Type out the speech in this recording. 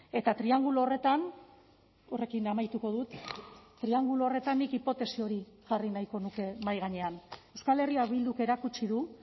eta triangulo horretan horrekin amaituko dut triangulo horretan nik hipotesi hori jarri nahiko nuke mahai gainean euskal herria bilduk erakutsi du